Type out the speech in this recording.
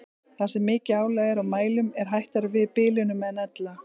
Þar sem mikið álag er á mælum er hættara við bilunum en ella.